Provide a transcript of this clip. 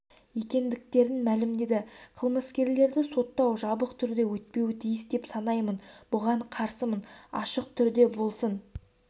екендіктерін мәлімдеді қылмыскерлерді соттау жабық түрде өтпеуі тиіс деп санаймын бұған қарсымын ашық түрде болсын